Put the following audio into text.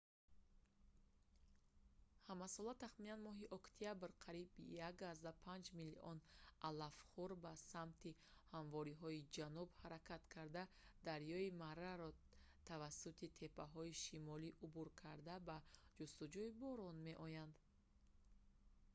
ҳамасола тахминан моҳи октябр қариб 1,5 миллион алафхӯр ба самти ҳамворҳои ҷануб ҳаракат карда дарёи мараро тавассути теппаҳои шимолӣ убур карда ба ҷустуҷӯи борон меоянд